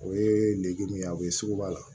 O ye nege min ye a bɛ sugu b'a la